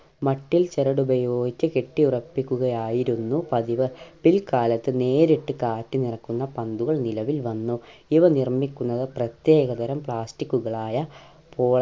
മട്ടിൽ ചിരടുപയോഗിച്ച് കെട്ടി ഉറപ്പിക്കുകയായിരുന്നു പതിവ് പിൽകാലത്ത് നേരിട്ട് കാറ്റ് നിറക്കുന്ന പന്തുകൾ നിലവിൽ വന്നു ഇവ നിർമിക്കുന്നത് പ്രത്യേകതരം plastic കളുകളായ